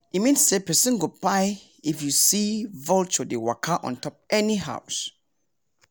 e mean say person go kpain if you see vulture dey waka on top any house